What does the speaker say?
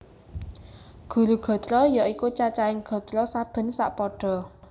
Guru gatra ya iku cacahing gatra saben sapada